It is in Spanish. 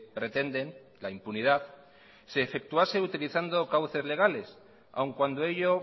pretenden la impunidad se efectuase utilizando cauces legales aún cuando ello